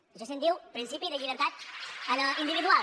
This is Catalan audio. d’això se’n diu principi de llibertat individual